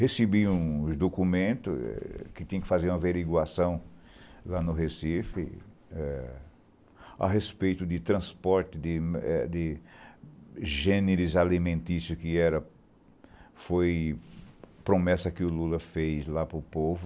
Recebi uns documentos eh que tinham que fazer uma averiguação lá no Recife eh a respeito de transporte de eh de gêneros alimentícios, que era foi promessa que o Lula fez lá para o povo.